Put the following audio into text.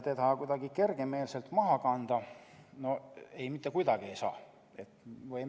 Seda kuidagi kergemeelselt maha kanda mitte kuidagi ei tohi.